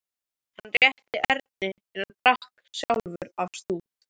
Hann rétti Erni en drakk sjálfur af stút.